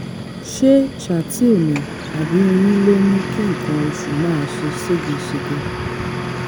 ṣé chateal ni àbí oyún ló ń mú kí nǹkan oṣù máa ṣe ségesège?